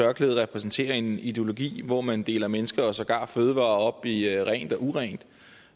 tørklæde repræsenterer en ideologi hvor man deler mennesker og sågar fødevarer op i rent og urent